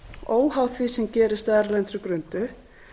óháð því sem gerist á erlendri grundu